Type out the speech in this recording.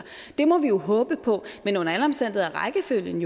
det må vi jo håbe på men under alle omstændigheder er rækkefølgen